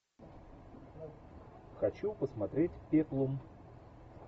хочу посмотреть пеплум